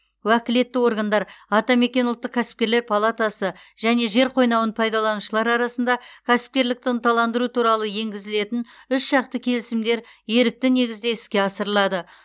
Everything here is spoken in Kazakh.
уәкілетті органдар атамекен ұлттық кәсіпкерлер палатасы және жер қойнауын пайдаланушылар арасында кәсіпкерлікті ынталандыру туралы енгізілетін үшжақты келісімдер ерікті негізде іске асырылады